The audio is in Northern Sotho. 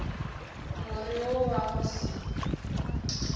more wo wa go se